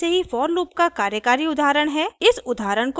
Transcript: मेरे पास पहले से ही for लूप का कार्यकारी उदाहरण है